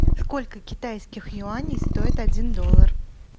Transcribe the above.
сколько китайских юаней стоит один доллар